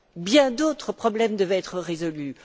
bien d'autres problèmes devaient être résolus.